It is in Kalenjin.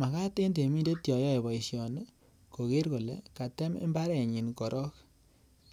Makat en temindet yoyoe boisioni kokere kole katem mbarenyin korong